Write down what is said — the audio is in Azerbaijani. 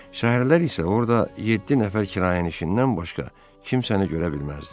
Səhərlər isə orada yeddi nəfər kirayəşindən başqa kimsəni görə bilməzdin.